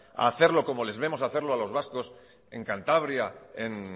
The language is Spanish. a hacerlo como les vemos hacerlo a los vascos en cantabria en